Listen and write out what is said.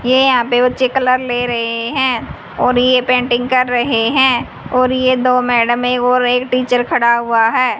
ये यहां पे बच्चे कलर ले रहे हैं और ये पेंटिंग कर रहे हैं और ये दो मैडम और एक टीचर खड़ा हुआ है।